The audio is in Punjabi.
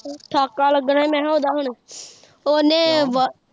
ਠਾਕਾ ਲੱਗਣਾ ਮੈਂ ਕਿਹਾ ਓਦਾ ਹੁਣ ਉਨੇ ਵ।